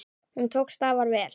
Hún tókst afar vel.